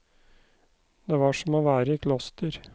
Det var som å være i kloster.